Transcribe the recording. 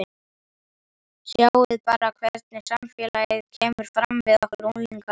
Sjáðu bara hvernig samfélagið kemur fram við okkur unglingana.